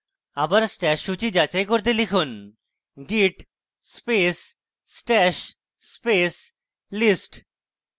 আবার stash সূচী যাচাই করতে লিখুন git space stash space list